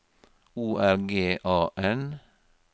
O R G A N